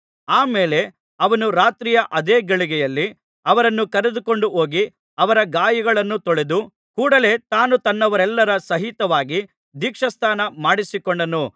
ಆ ಮೇಲೆ ಅವನು ರಾತ್ರಿಯ ಅದೇ ಗಳಿಗೆಯಲ್ಲಿ ಅವರನ್ನು ಕರೆದುಕೊಂಡು ಹೋಗಿ ಅವರ ಗಾಯಗಳನ್ನು ತೊಳೆದು ಕೂಡಲೆ ತಾನೂ ತನ್ನವರೆಲ್ಲರ ಸಹಿತವಾಗಿ ದೀಕ್ಷಾಸ್ನಾನ ಮಾಡಿಸಿಕೊಂಡನು